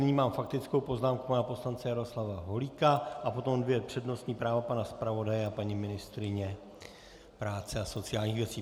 Nyní mám faktickou poznámku pana poslance Jaroslava Holíka a potom dvě přednostní práva - pana zpravodaje a paní ministryně práce a sociálních věcí.